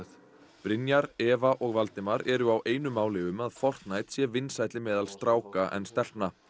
Brynjar Eva og Valdimar eru á einu máli um að Fortnite sé vinsælli meðal stráka en stelpna